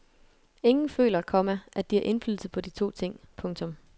Ingen føler, komma at de har indflydelse på de to ting. punktum